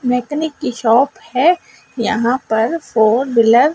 mechanic की shop है यहां पर फोर व्हीलर --